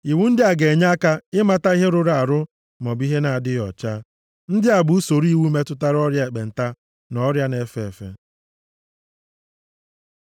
Iwu ndị a ga-enye aka ịmata ihe rụrụ arụ maọbụ ihe na-adịghị ọcha. Ndị a bụ usoro iwu metụtara ọrịa ekpenta na ọrịa na-efe efe.